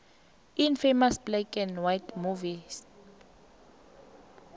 infamous black and white movie